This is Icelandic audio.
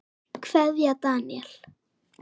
Kveðja, Daníel.